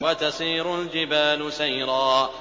وَتَسِيرُ الْجِبَالُ سَيْرًا